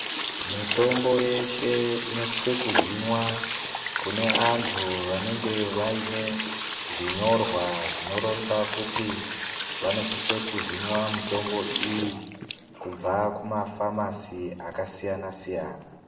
Mitombo yeshe inosiswe ku hinwa kune antu vanenge vaine zvinyorwa zvino ronza kuti vanosiswe ku hinwa mutombo iyi kubva ku mafamasi aka siyana siyana.